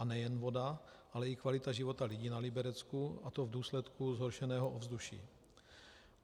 A nejen voda, ale i kvalita života lidí na Liberecku, a to v důsledku zhoršeného ovzduší.